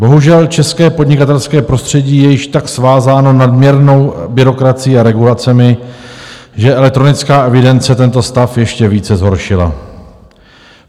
Bohužel, české podnikatelské prostředí je již tak svázáno nadměrnou byrokracií a regulacemi, že elektronická evidence tento stav ještě více zhoršila.